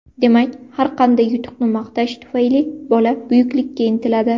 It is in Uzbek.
Demak, har qanday yutuqni maqtash tufayli bola buyuklikka intiladi.